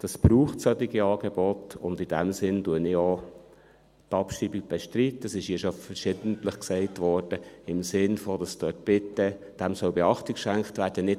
Es braucht solche Angebote, und in diesem Sinn bestreite ich auch die Abschreibung – es wurde hier schon verschiedentlich gesagt: im Sinn davon, dass dem bitte Beachtung geschenkt werden soll;